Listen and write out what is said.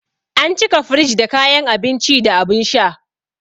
An cika firij da kayan abinci da abin sha.